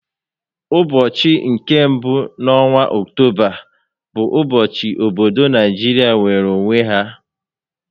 N'ụbọchị nke mbụ n'ọnwa Ọctoba bụ ụbọchị obodo nigeria nweere onwe ya